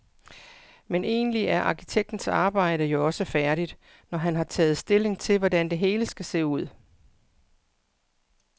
Men egentlig er arkitektens arbejde jo også færdigt, når han har taget stilling til, hvordan det hele skal se ud.